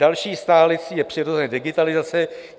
Další stálicí je přirozeně digitalizace.